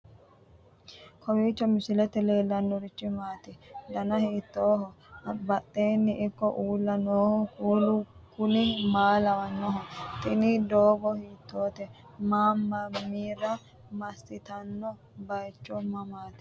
kowiicho misilete leellanorichi maati ? dana hiittooho ?abadhhenni ikko uulla noohu kuulu kuni maa lawannoho? tini doogo hiitoote manna mamira massitanno baychu mamaati